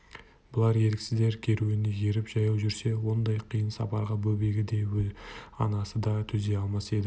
бұлар еріксіздер керуеніне еріп жаяу жүрсе ондай қиын сапарға бөбегі де анасы да төзе алмас еді